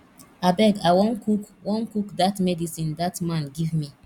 abeg i wan cook wan cook dat medicine dat man give me